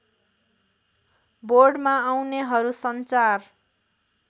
बोर्डमा आउनेहरू सञ्चार